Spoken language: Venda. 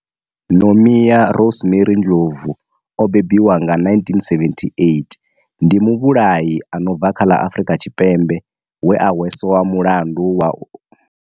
Nomia Rosemary Ndlovu o bebiwaho nga 1978, ndi muvhulahi a no bva kha ḽa Afurika Tshipembe we a hweswa mulandu wa u.